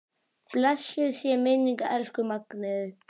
Blessuð sé minning elsku Magneu.